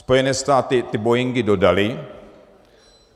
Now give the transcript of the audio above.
Spojené státy ty boeingy dodaly.